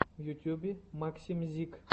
в ютьюбе максимьзик